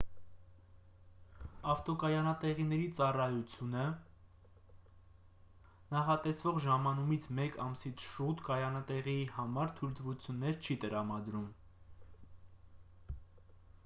ավտոկայանատեղիների ծառայությունը մինաե նախատեսվող ժամանումից մեկ ամսից շուտ կայանատեղիի համար թույլտվություններ չի տրամադրում։